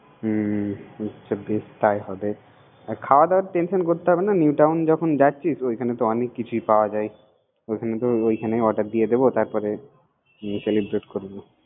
হুম ঠিক বেশ তাই হবে। খওয়া দাওয়ার টেনশন করতে হবে না। নিউটাউন যখন যাচ্ছি তো ওখানে তো অনেক কিছুই পাওয়া যায়। ওখানে অর্ডার করে দিব।